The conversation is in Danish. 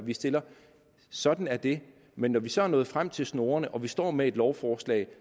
vi stiller sådan er det men når vi så er nået frem til snorene og vi står med et lovforslag